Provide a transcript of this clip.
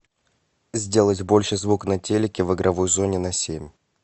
сделать больше звук на телике в игровой зоне на семь